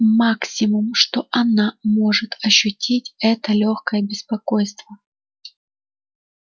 максимум что она может ощутить это лёгкое беспокойство